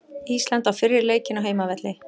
Ísland á fyrri leikinn á heimavelli